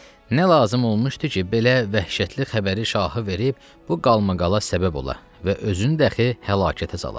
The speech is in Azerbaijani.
Nə lazım olmuşdu ki, belə vəhşətli xəbəri şahı verib bu qalmaqala səbəb ola və özünü dəxi həlakətə sala.